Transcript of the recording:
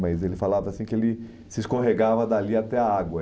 Mas ele falava assim que ele se escorregava dali até a água.